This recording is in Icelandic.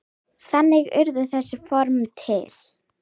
Þannig urðu þessi form til.